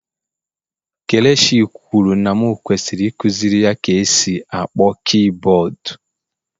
Kelechi kwuru na m kwesịrị ikuziri ya ka e si akpọ kiiboodu.